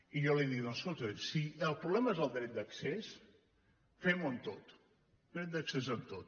i jo li dic escolti si el problema és el dret d’accés fem ho amb tot dret d’accés amb tot